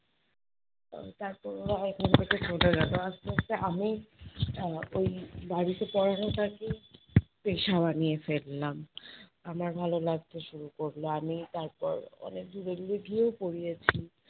আহ তারপর ওরা থেকে চলে গেলো আস্তে আস্তে আমি আহ ওই বাড়িতে পড়ানোটাকেই পেশা বানিয়ে ফেললাম। আমার ভালো লাগতে শুরু করলো, আমি তারপর অনেক দূরে দূরে গিয়েও পড়িয়েছি